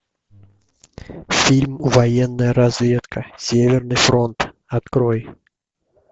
фильм военная разведка северный фронт открой